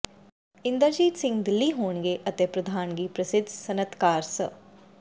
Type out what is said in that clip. ਇੰਦਰਜੀਤ ਸਿੰਘ ਦਿੱਲੀ ਹੋਣਗੇ ਅਤੇ ਪ੍ਰਧਾਨਗੀ ਪ੍ਰਸਿੱਧ ਸਨਅਤਕਾਰ ਸ